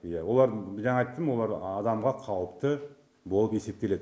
иә олардың жаңа айттым олар адамға қауіпті болып есептеледі